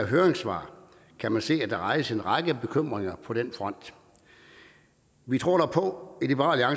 høringssvarene kan man se at der rejses en række bekymringer på den front vi tror dog på i liberal